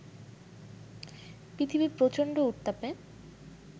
পৃথিবী প্রচণ্ড উত্তাপে